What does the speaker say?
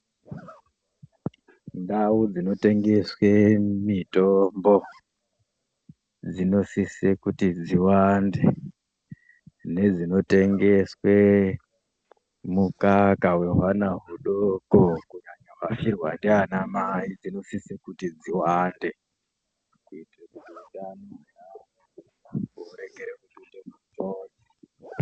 Ndau dzinotengeswe mitombo dzinosise kuti dziwande nedzinotengswe mukaka wehwana hudoko kunyanya vafirwa ndanamai dzinosise kuti dziwande kuite kuti ........